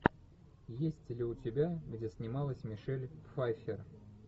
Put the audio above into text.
есть ли у тебя где снималась мишель пфайффер